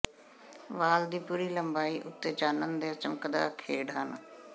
ਵਾਲ ਦੀ ਪੂਰੀ ਲੰਬਾਈ ਉੱਤੇ ਚਾਨਣ ਦੇ ਚਮਕਦਾ ਖੇਡ ਹਨ